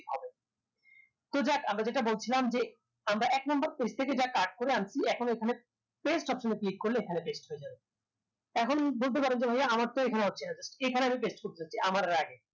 তো যাক আমরা যেটা বলছিলাম যে আমরা এক number page থেকে cut যা করে আনছি এখন ওইখানে paste option click করলে এখানে paste হয়ে যাবে এখন বলতে পারেন যে ভাইয়া আমারতো হচ্ছে না এখানে paste আমি করতে চাচ্ছি আমার এর আগে